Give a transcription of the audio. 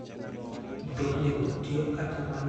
Mtoknigo tiyo kata mana e kinde koth maduong'.